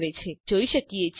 આપણે અહીં જોઈ શકીએ છીએ